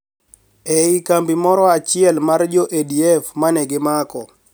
E I kambi moro achiel mar jo ADF ma ne gimako